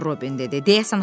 Robin dedi.